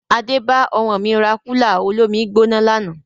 Adé bá ọmọ mi rà kúlà olómi-I-gbóná lànà